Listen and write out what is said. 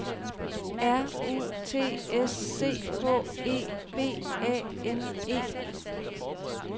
R U T S C H E B A N E